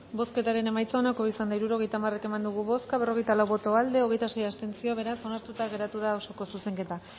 bozketaren emaitza onako izan da hirurogeita hamar eman dugu bozka berrogeita lau boto aldekoa hogeita sei abstentzio beraz onartuta geratu da osoko zuzenketa